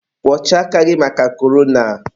kwọchaa aka gị maka korona!